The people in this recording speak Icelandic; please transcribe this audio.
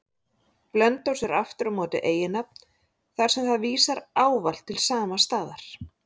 Blönduós er aftur á móti eiginnafn, þar sem það vísar ávallt til sama staðar.